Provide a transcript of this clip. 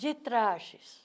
De trajes.